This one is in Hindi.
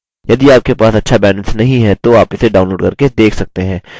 यदि आपके पास अच्छा bandwidth नहीं है तो आप इसे download करके देख सकते हैं